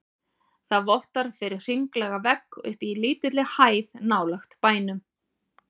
Það vottar fyrir hringlaga vegg uppi á lítilli hæð nálægt bænum.